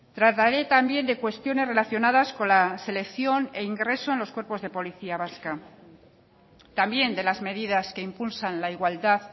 trataré también de cuestiones relacionadas con la selección e ingreso en los cuerpos de policía vasca también de las medidas que impulsan la igualdad